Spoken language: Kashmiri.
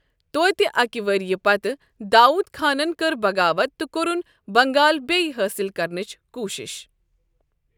توتہ اکہِ ؤریہ پتہٕ داوود خانن کٔر بغاوت تہٕ کوٚرن بنگال بیٚیِہ حٲصِل کرنٕچ کوٗشش۔